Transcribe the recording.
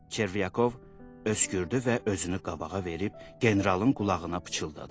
Çervyakov öskürdü və özünü qabağa verib generalın qulağına pıçıldadı.